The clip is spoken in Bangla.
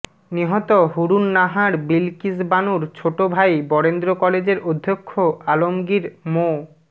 নিহত হুরুন নাহার বিলকিস বানুর ছোট ভাই বরেন্দ্র কলেজের অধ্যক্ষ আলমগীর মো